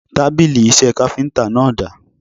Tábìlì iṣẹ́ káfíntà náà dà?